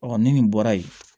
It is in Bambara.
ni nin bɔra yen